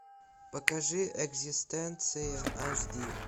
покажи экзистенция аш ди